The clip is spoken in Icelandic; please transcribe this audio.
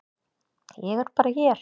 Ég er bara hér.